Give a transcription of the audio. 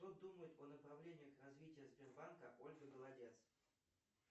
что думает о направлениях развития сбербанка ольга голодец